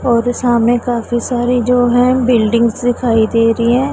और सामने काफी सारी जो है बिल्डिंग्स दिखाई दे रही हैं।